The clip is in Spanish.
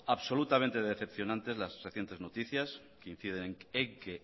absolutamente decepcionarte las recientes noticias y quien